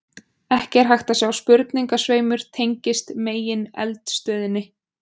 Ekki er hægt að sjá að sprungusveimur tengist megineldstöðinni.